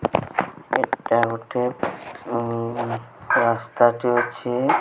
ଏଟା ଗୋଟେ ଉଁ ରାସ୍ତାଟି ଅଛି।